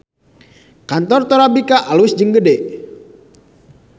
Kantor Torabika alus jeung gede